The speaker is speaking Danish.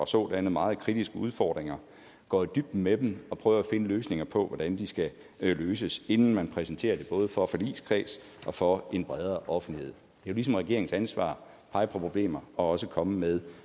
sådanne meget kritiske udfordringer og går i dybden med dem og prøver at finde svar på hvordan de skal løses inden man præsenterer det både for en forligskreds og for en bredere offentlighed det er ligesom regeringens ansvar at pege på problemer og også komme med